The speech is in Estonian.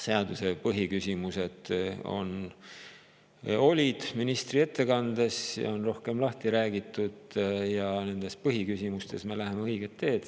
Seaduse põhiküsimused olid ministri ettekandes ja on rohkem lahti räägitud ja nendes põhiküsimustes me läheme õiget teed.